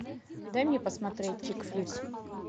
дай мне посмотреть чик флик